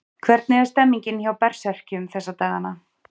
Hvernig er stemningin hjá Berserkjum þessa dagana?